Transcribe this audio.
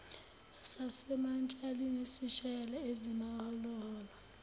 sasemantshalini sishaye ezimaholoholo